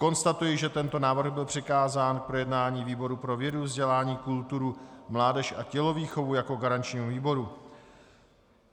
Konstatuji, že tento návrh byl přikázán k projednání výboru pro vědu, vzdělání, kulturu, mládež a tělovýchovu jako garančnímu výboru.